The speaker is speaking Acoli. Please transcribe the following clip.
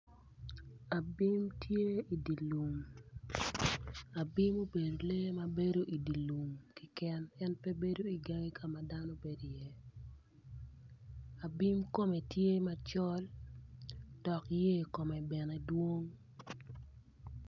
Abim tye idye lum abim obedo lee ma bedo idi lum keken en pe bedo igangi ka ma dano bedo iyeni abim kome tye macol dok yer kome bene dwong.